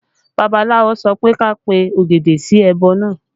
Babaláwo sọ pé kí a pe ògèdè sí ẹbọ náà